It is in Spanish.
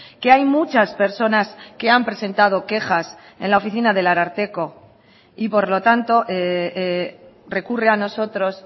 que hay muchas personas que han presentado quejas en la oficina del ararteko y por lo tanto recurre a nosotros